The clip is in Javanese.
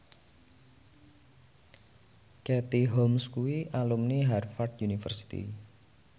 Katie Holmes kuwi alumni Harvard university